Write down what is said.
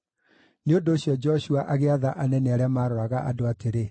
Nĩ ũndũ ũcio Joshua agĩatha anene arĩa maaroraga andũ atĩrĩ: